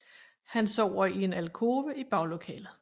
Han sover i en alkove i baglokalet